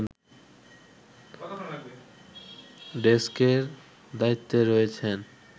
ডেস্কের দায়িত্বে রয়েছেন